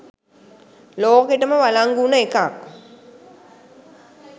ලෝකෙටම වලංගු වුණු එකක්